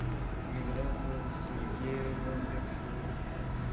миграция сергеевна левшова